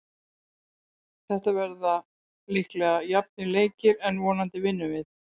Þetta verða líklega jafnir leikir en vonandi vinnum við.